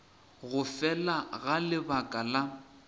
go fela ga lebaka la